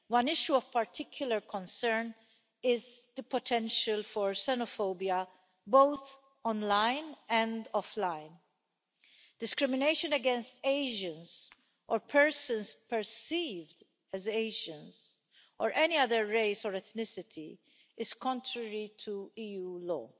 One issue of particular concern is the potential for xenophobia, both online and offline. Discrimination against Asians or persons perceived as Asians or any other race or ethnicity is contrary to EU law.